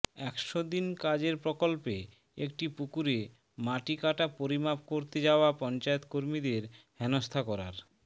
একশো দিন কাজের প্রকল্পে একটি পুকুরে মাটি কাটা পরিমাপ করতে যাওয়া পঞ্চায়েত কর্মীদের হেনস্থা করার